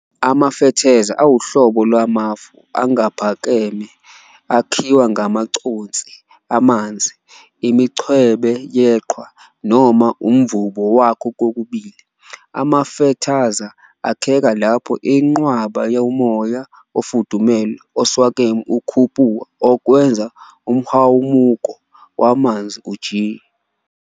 Amafethaza awuhlobo lwamafu angaphakeme akhiwa ngamaconsi amanzi, imincwebe yeqhwa, noma umvubo wakho kokubili. Amafethaza akheka lapho inqwaba yomoya ofudumele, oswakeme ukhuphuka, okwenza umhwamuko wamanzi ujiye.